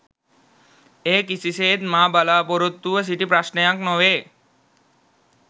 එය කිසිසේත් මා බලාපොරොත්තු ව සිටි ප්‍රශ්නයක් නොවේ.